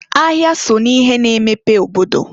Ahịa so n'ihe na-emepe obodo.